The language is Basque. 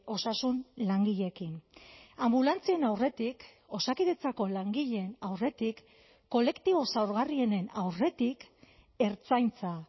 osasun langileekin anbulantzien aurretik osakidetzako langileen aurretik kolektibo zaurgarrienen aurretik ertzaintza